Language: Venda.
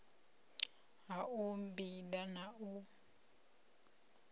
ha u bida na u